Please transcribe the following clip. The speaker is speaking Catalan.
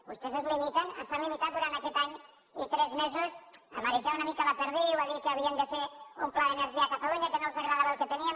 vostès es limiten s’han limitat durant aquest any i tres mesos a marejar una mica la perdiu a dir que havien de fer un pla d’energia a catalunya que no els agradava el que teníem